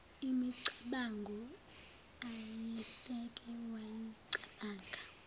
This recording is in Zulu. imicabango ayeseke wayicabanga